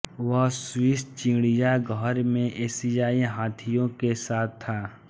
वह स्विस चिड़ियाघर में एशियाई हाथियों के साथ था